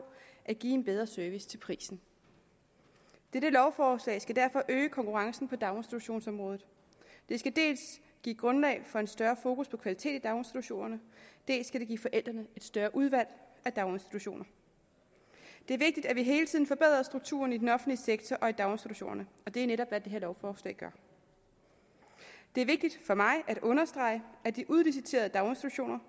at give en bedre service til prisen dette lovforslag skal derfor øge konkurrencen på daginstitutionsområdet det skal dels give grundlag for en større fokus på kvalitet i daginstitutionerne dels skal det give forældrene et større udvalg af daginstitutioner det er vigtigt at vi hele tiden forbedrer strukturerne i den offentlige sektor og i daginstitutionerne og det er netop hvad det her lovforslag gør det er vigtigt for mig at understrege at de udliciterede daginstitutioner